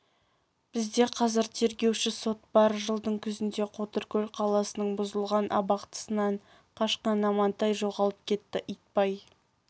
бізде қазір тергеуші сот бар жылдың күзінде қотыркөл қаласының бұзылған абақтысынан қашқан амантай жоғалып кетті итбай